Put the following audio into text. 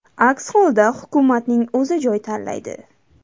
Aks holda hukumatning o‘zi joy tanlaydi.